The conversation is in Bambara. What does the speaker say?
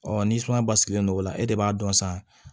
Ɔ ni sumaya basigilen no o la e de b'a dɔn san